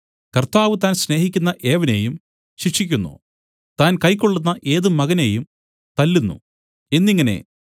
കർത്താവ് താൻ സ്നേഹിക്കുന്ന ഏവനെയും ശിക്ഷിക്കുന്നു താൻ കൈക്കൊള്ളുന്ന ഏത് മകനെയും തല്ലുന്നു എന്നിങ്ങനെ